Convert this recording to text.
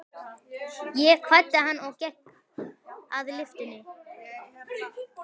Ég kvaddi hann og gekk að lyftunni.